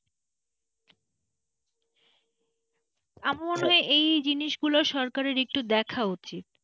আমার মনে হয় এই জিনিসগুলো সরকার একটু দেখা উচিত,